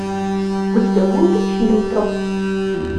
у тебя будет фильм троцкий